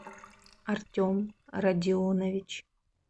артем родионович